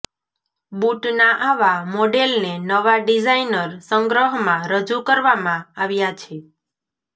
બૂટના આવા મોડેલને નવા ડિઝાઇનર સંગ્રહમાં રજૂ કરવામાં આવ્યા છે